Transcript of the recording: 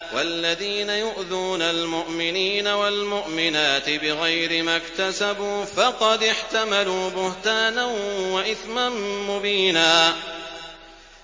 وَالَّذِينَ يُؤْذُونَ الْمُؤْمِنِينَ وَالْمُؤْمِنَاتِ بِغَيْرِ مَا اكْتَسَبُوا فَقَدِ احْتَمَلُوا بُهْتَانًا وَإِثْمًا مُّبِينًا